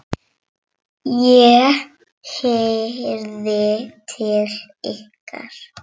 ég heyrði til ykkar!